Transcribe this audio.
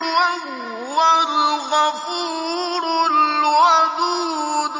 وَهُوَ الْغَفُورُ الْوَدُودُ